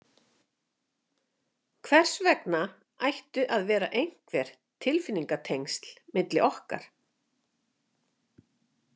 Hvers vegna ættu að vera einhver tilfinningatengsl milli okkar?